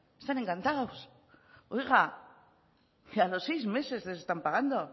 están encantados oiga que a los seis meses les están pagando